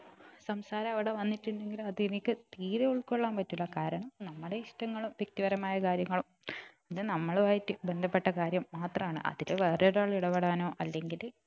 സംസാരം അവിടെ വന്നിട്ടുണ്ടെങ്കിൽ അത് എനിക്ക് തീരെ ഉൾക്കൊള്ളാൻ പറ്റൂല്ല കാരണം നമ്മുടെ ഇഷ്ടങ്ങളും വ്യക്തിപരമായ കാര്യങ്ങളും അത് നമ്മളുമായി ബന്ധപ്പെട്ട കാര്യം മാത്രമാണ് അതില് വേറെ ഒരാൾ ഇടപെടാനോ അല്ലെങ്കില്